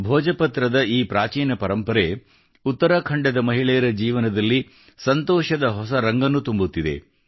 ಭೋಜಪತ್ರದ ಈ ಪ್ರಾಚೀನ ಪರಂಪರೆ ಉತ್ತರಾಖಂಡದ ಮಹಿಳೆಯರ ಜೀವನದಲ್ಲಿ ಸಂತೋಷದ ಹೊಸ ರಂಗು ತುಂಬುತ್ತಿದೆ